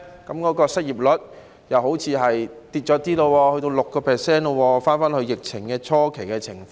皆因失業率好像開始下跌，已回到 6%， 回到疫情初期的情況。